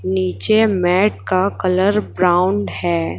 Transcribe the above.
नीचे मैट का colour brown है।